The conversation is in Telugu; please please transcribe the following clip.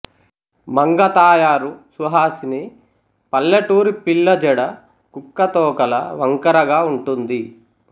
మంగతాయారు సుహాసిని పల్లెటూరి పిల్ల జడ కుక్కతోకలా వంకరగా ఉంటుంది